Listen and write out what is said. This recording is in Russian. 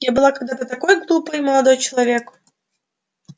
я была когда-то такой глупой молодой человек